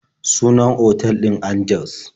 Sunan otal ɗin Angeles.